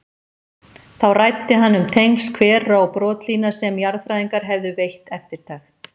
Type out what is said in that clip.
Þá ræddi hann um tengsl hvera og brotlína sem jarðfræðingar hefðu veitt eftirtekt.